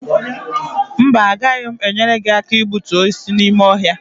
mba, agaghị m enyere gị aka igbutu osisi n’ime ọhịa